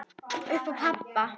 Upp á pabba.